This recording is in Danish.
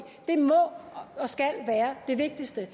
det må og skal være det vigtigste